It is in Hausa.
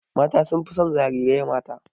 Mata sun fi son jarirai mata.